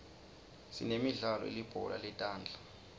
sinemidlalo yelibhola letandla